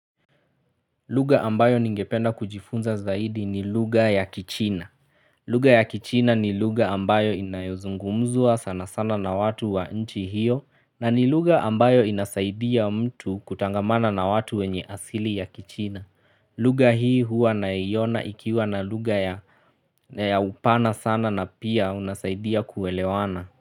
Lugha ambayo ningependa kujifunza zaidi ni lugha ya kichina lugha ya kichina ni lugha ambayo inayozungumzwa sana sana na watu wa nchi hiyo na ni lugha ambayo inasaidia mtu kutangamana na watu wenye asili ya kichina lugha hii huwa naiona ikiwa na luga ya ya upana sana na pia unasaidia kuelewana.